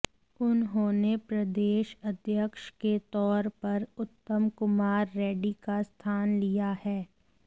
उन्होंने प्रदेश अध्यक्ष के तौर पर उत्तम कुमार रेड्डी का स्थान लिया है